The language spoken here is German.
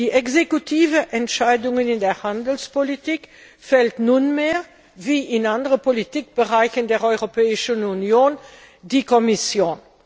Die exekutiven Entscheidungen in der Handelspolitik fällt nunmehr, wie in anderen Politikbereichen der Europäischen Union, die Kommission.